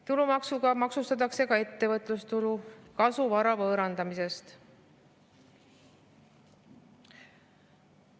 Tulumaksuga maksustatakse ka ettevõtlustulu ja kasu vara võõrandamisest.